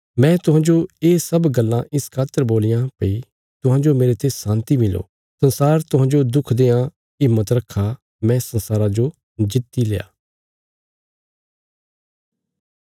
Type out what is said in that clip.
मैं तुहांजो ये सब गल्लां इस खातर बोलियां भई तुहांजो मेरते शान्ति मिलो संसार तुहांजो दुख देआं हिम्मत रखा मैं संसारा जो जित्तिल्या